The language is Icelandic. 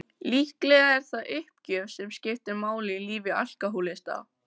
Líklega er það uppgjöf sem skiptir máli í lífi alkohólista.